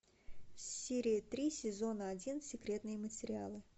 серия три сезона один секретные материалы